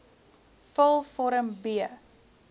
vul vorm b